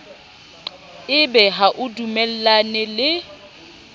ebe ha o dumellane le